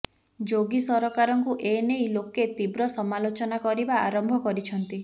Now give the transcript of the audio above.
ଯୋଗୀ ସରକାରଙ୍କୁ ଏ ନେଇ ଲୋକେ ତୀବ୍ର ସମାଲୋଚନା କରିବା ଆରମ୍ଭ କରିଛନ୍ତି